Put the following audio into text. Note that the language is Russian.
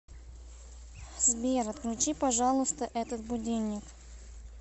сбер отключи пожалуйста этот будильник